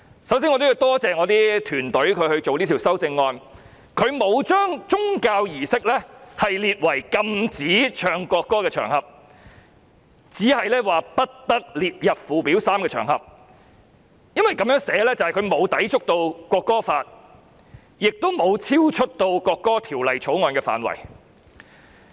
首先我要感謝我的團隊，他們草擬這項修正案時，沒有將宗教儀式訂為無須奏唱國歌的場合，只是不得列入附表 3， 因為這樣的寫法便不會抵觸《條例草案》，亦不會超出《條例草案》的範圍。